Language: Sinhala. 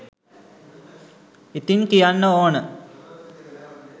ඉතිං කියන්න ඕන